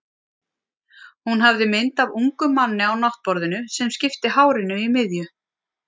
Hún hafði mynd af ungum manni á náttborðinu, sem skipti hárinu í miðju.